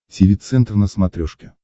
тиви центр на смотрешке